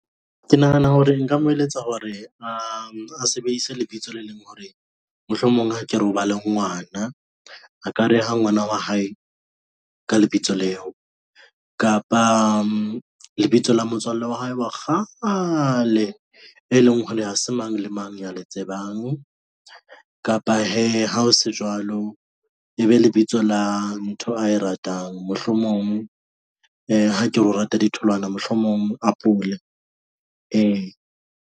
Ke nahana hore nka mo eletsa hore a, a sebedise lebitso le leng hore mohlomong ha ke re o ba le ngwana. A ka reha ngwana wa hae ka lebitso leo, kapa lebitso la motswallle wa hae wa kgale, e leng hore ha se mang le mang ya le tsebang kapa hee ha ho se jwalo. E be lebitso la ntho ae ratang, mohlomong e he ke hore rata ditholwana mohlomong apole ee.